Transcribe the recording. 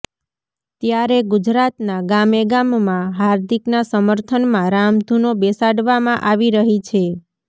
ત્યારે ગુજરાતના ગામે ગામમાં હાર્દિકના સમર્થનમાં રામધૂનો બેસાડવામાં આવી રહી છે